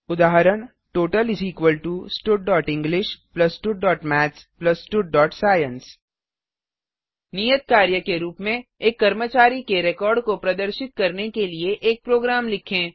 उदाहरण total studenglish studमैथ्स studसाइंस नियत कार्य के रूप में एक कर्मचारी के रिकॉर्ड को प्रदर्शित करने के लिए एक प्रोग्राम लिखें